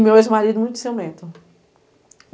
meu ex-marido, muito ciumento.